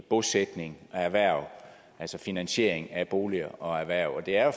bosætning og erhverv altså finansiering af boliger og erhverv det er